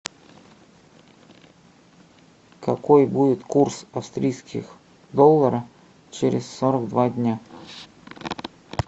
какой будет курс австрийских долларов через сорок два дня